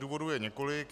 Důvodů je několik.